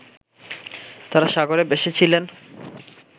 তারা সাগরে ভেসেছিলেন